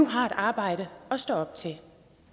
har et arbejde at stå op til